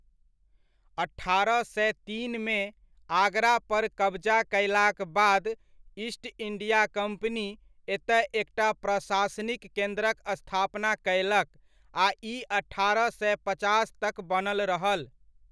अठारह सय तीनमे, आगरा पर कबजा कयलाक बाद ईस्ट इण्डिया कम्पनी एतय एकटा प्रशासनिक केन्द्रक स्थापना कयलक आ ई अठारह सय पचास तक बनल रहल।